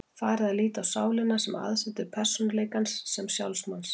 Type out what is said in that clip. Farið var að líta á sálina sem aðsetur persónuleikans, sem sjálf manns.